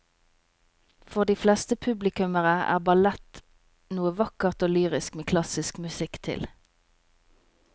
For de fleste publikummere er ballett noe vakkert og lyrisk med klassisk musikk til.